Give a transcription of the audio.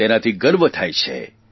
તેનાથી ગર્વ થાય છે